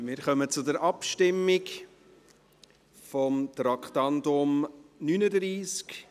Wir kommen zur Abstimmung über das Traktandum 39.